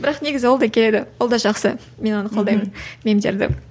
бірақ негізі ол да келеді ол да жақсы мен оны қолдаймын мемдерді